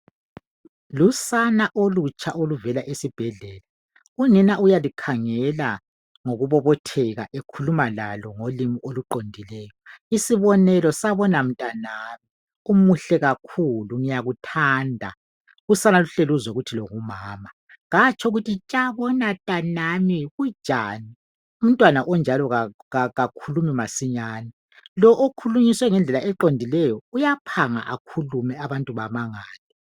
Lusana olutsha oluvela esibhedlela, unina uyalikhangela ngoku momotheka ekhuluma lalo ngolimi oluqondileyo isibonelo "umuhle kakhulu ngiyakuthanda" usana luhle luzwe ukuthi lo ngumama umntwana okhulunyiswe ngendlela eqondileyo uyaphanga akhulume abantu bamangale.